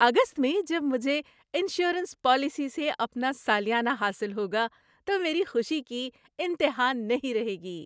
‏اگست میں جب مجھے انشورنس پالیسی سے اپنا سالیانہ حاصل ہوگا تو میری خوشی کی انتہا نہیں رہے گی۔